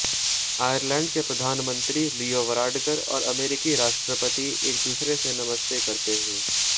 Ireland के प्रधानमंत्री Leo Varadkar और अमेरिकी राष्ट्रपति एक दूसरे से नमस्ते करते हुए